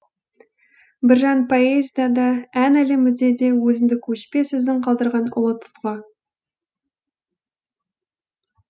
біржан поэзияда да ән әлемінде де өзіндік өшпес ізін қалдырған ұлы тұлға